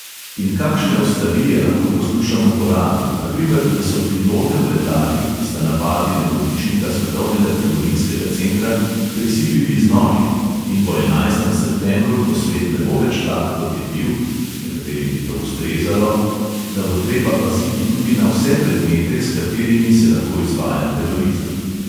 In kakšne oslarije lahko poslušamo po radiu, na primer da so pilote v letalih, ki sta napadli nebotičnika svetovnega trgovinskega centra, prisilili z noži, in po enajstem septembru, ko svet ne bo več tak, kot je bil (nekaterim bi to ustrezalo), da bo treba paziti tudi na vse predmete, s katerimi se lahko izvaja terorizem.